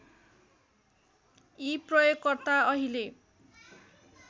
यी प्रयोगकर्ता अहिले